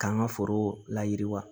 K'an ka foro la yiriwa